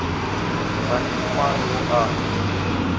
kgane ke mang yo a